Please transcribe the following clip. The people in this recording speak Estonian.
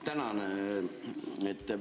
Tänan!